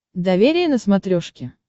доверие на смотрешке